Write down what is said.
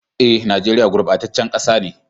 Eh, nageria gurbatacen kasa ne.